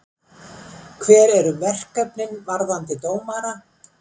Hver eru verkefnin varðandi dómara?